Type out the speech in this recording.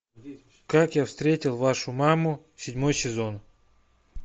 как я встретил вашу маму седьмой сезон